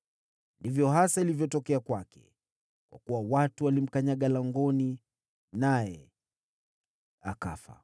Ndivyo hasa ilivyotokea kwake, kwa kuwa watu walimkanyaga langoni, naye akafa.